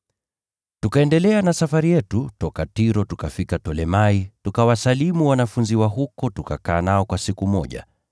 Tukaendelea na safari yetu toka Tiro tukafika Tolemai, tukawasalimu ndugu wa huko, tukakaa nao kwa siku moja.